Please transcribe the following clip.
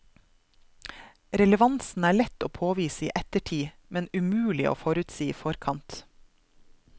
Relevansen er lett å påvise i ettertid, men umulig å forutsi i forkant.